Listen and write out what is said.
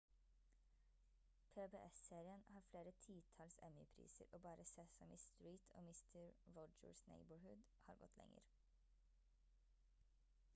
pbs-serien har flere titalls emmy-priser og bare sesame street og mister rogers' neighborhood har gått lenger